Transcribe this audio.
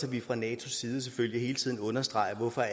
at vi fra natos side selvfølgelig hele tiden understreger hvorfor